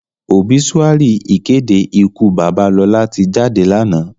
Óbisúári ìkédé ìkú baba Lola ti jádé láná.